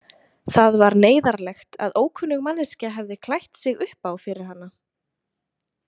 Það var neyðarlegt að ókunnug manneskja hefði klætt sig upp á fyrir hana.